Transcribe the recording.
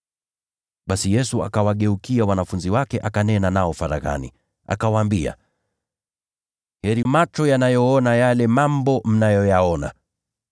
Basi Yesu akawageukia wanafunzi wake akanena nao faraghani, akawaambia, “Heri macho yanayoona yale mambo mnayoyaona.